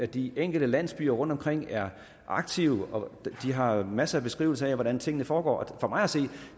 de enkelte landsbyer rundtomkring er aktive de har masser af beskrivelser af hvordan tingene foregår for mig at se